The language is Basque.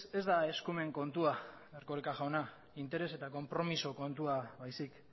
ez da eskumen kontua erkoreka jauna interes eta konpromezu kontua baizik